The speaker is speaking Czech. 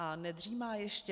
A nedřímá ještě?